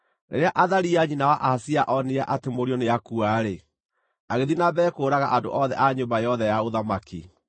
Rĩrĩa Athalia nyina wa Ahazia onire atĩ mũriũ nĩakua-rĩ, agĩthiĩ na mbere kũũraga andũ othe a nyũmba yothe ya ũthamaki.